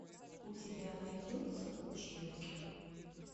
у тебя найдется училки